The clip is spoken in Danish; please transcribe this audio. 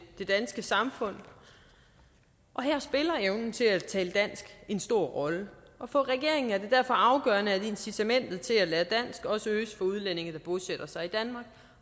det danske samfund og her spiller evnen til at tale dansk en stor rolle for regeringen er det derfor afgørende at incitamentet til at lære dansk også øges for udlændinge der bosætter sig danmark